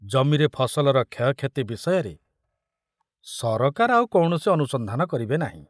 ଜମିରେ ଫସଲର କ୍ଷୟକ୍ଷତି ବିଷୟରେ ସରକାର ଆଉ କୌଣସି ଅନୁସନ୍ଧାନ କରିବେ ନାହିଁ।